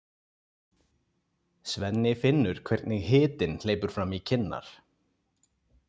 Svenni finnur hvernig hitinn hleypur fram í kinnar.